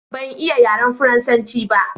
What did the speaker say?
ban iya yaren faransanci ba